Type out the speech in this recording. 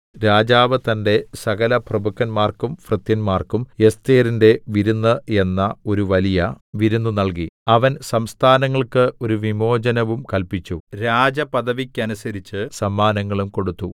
രാജാവ് തന്റെ സകലപ്രഭുക്കന്മാർക്കും ഭൃത്യന്മാർക്കും എസ്ഥേരിന്റെ വിരുന്ന് എന്ന ഒരു വലിയ വിരുന്ന് നൽകി അവൻ സംസ്ഥാനങ്ങൾക്ക് ഒരു വിമോചനവും കല്പിച്ചു രാജപദവിക്കനുസരിച്ച് സമ്മാനങ്ങളും കൊടുത്തു